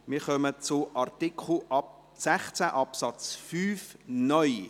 Wir kommen zu Artikel 16 Absatz 5 (neu).